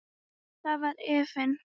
Þar var efinn.